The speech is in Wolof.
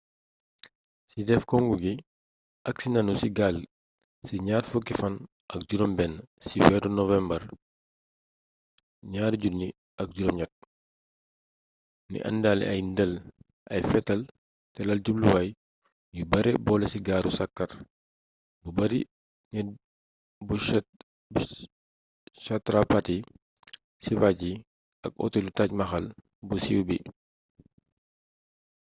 ci def congu gi agsi nanu ci gaal ci ñaar fukki fan ak juróom benn ci weeru nowembar 2008 n indaale ay ndel ay fetal te laal jubluwaay yu bare boole ci gaaru saxaar buy bari nit bu chhatrapati shivaji ak otelu taj mahal bu siiw bi